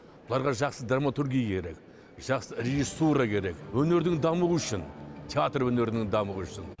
оларға жақсы драматургия керек жақсы режиссура керек өнірдің дамуы үшін театр өнерінің дамуы үшін